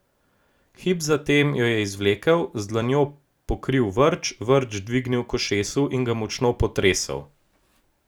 Hip zatem jo je izvlekel, z dlanjo pokril vrč, vrč dvignil k ušesu in ga močno potresel.